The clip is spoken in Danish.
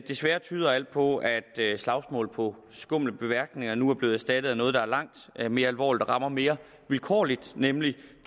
desværre tyder alt på at slagsmål på skumle beværtninger nu er blevet erstattet af noget der er langt mere alvorligt og rammer mere vilkårligt nemlig